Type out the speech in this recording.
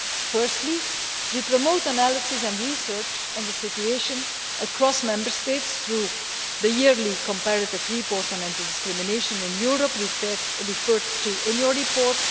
Firstly, we promote analysis and research on the situation across Member States through the yearly comparative report on anti discrimination in Europe referred to in your report